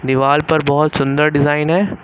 दीवाल पर बहोत सुंदर डिजाइन है।